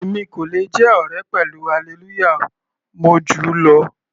Èmi kò le jẹ́ ọ̀rẹ́ pẹ̀lú Hallelujah, mo júù lọ.